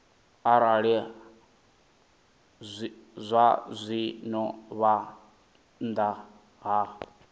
arali zwazwino vha nnḓa ha